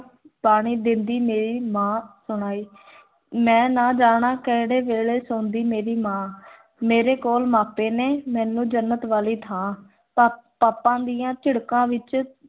ਪਾਣੀ ਦੇਂਦੀ, ਮੇਰੀ ਮਾਂ ਸੁਣਾਈ ਮੈਂ ਨਾ ਜਾਣਾ, ਕਿਹੜੇ ਵੇਲੇ ਸੌਂਦੀ ਮੇਰੀ ਮਾਂ ਮੇਰੇ ਕੋਲ ਮਾਪੇ ਨੇ, ਮੈਨੂੰ ਜੰਨਤ ਵਾਲੀ ਥਾਂ, ਪਾ ਪਾਪਾ ਦੀਆਂ ਝਿੜਕਾਂ ਵਿੱਚ,